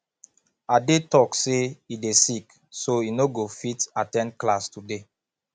ade talk say he dey sick so he no go fit at ten d class today